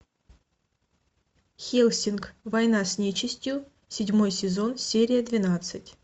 хеллсинг война с нечистью седьмой сезон серия двенадцать